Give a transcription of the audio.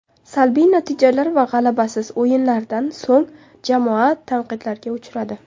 Salbiy natijalar va g‘alabasiz o‘yinlardan so‘ng jamoa tanqidlarga uchradi.